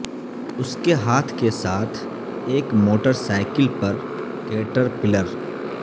اس کے ہاتھ کے ساتھ ایک موٹر سائیکل پر کیٹرپلر